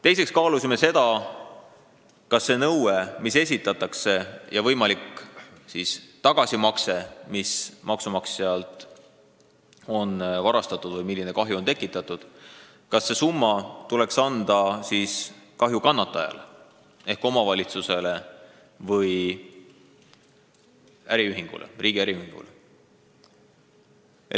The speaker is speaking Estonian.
Teiseks kaalusime seda, kas võimaliku tagasimakse summa, mis hüvitab seda, mis maksumaksjalt on varastatud, või seda, milline kahju on tekitatud, tuleks anda kahjukannatajale ehk omavalitsusele või riigi äriühingule.